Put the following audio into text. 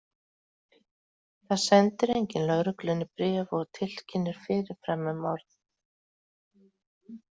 Það sendir enginn lögreglunni bréf og tilkynnir fyrirfram um morð.